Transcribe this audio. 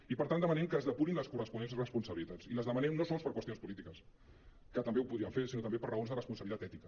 i per tant demanem que es depurin les corresponents responsabili·tats i les demanem no sols per qüestions polítiques que també ho podríem fer sinó també per raons de responsabilitat ètica